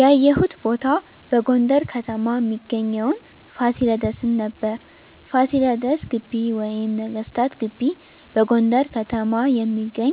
ያየሁት ቦታ በጎንደር ከተማ እሚገኘዉን ፋሲለደስን ነበር። ፋሲለደስ ግቢ ወይም ነገስታት ግቢ በጎንደር ከተማ የሚገኝ